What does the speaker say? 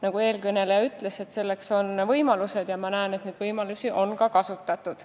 Nagu eelkõneleja ütles, selleks on võimalusi, ja ma näen, et neid võimalusi on ka kasutatud.